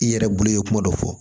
I yɛrɛ bolo ye kuma dɔ fɔ